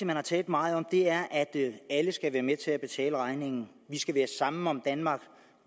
man har talt meget om er at alle skal være med til at betale regningen at vi skal være sammen om danmark